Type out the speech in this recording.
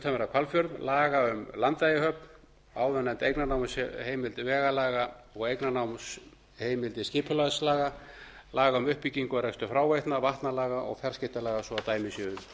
utanverðan hvalfjörð laga um landeyjahöfn áðurnefnda eignarnámsheimild vegalaga og eignarnámsheimildir skipulagslaga laga um uppbyggingu og rekstur fráveitna vatnalaga og fjarskiptalaga svo að dæmi séu